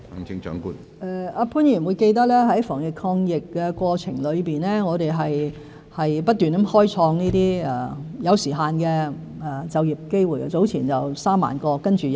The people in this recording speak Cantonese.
潘議員應記得在防疫抗疫的過程中，我們不停開創一些有時限的就業機會，早前有3萬個，然後再有3萬個。